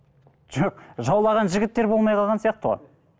жоқ жаулаған жігіттер болмай қалған сияқты ғой